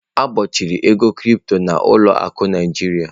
E gbochiri ego Crypto na ụlọ akụ Naịjiria.